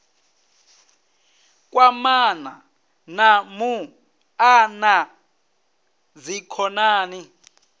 kwamana na muṱa na dzikhonani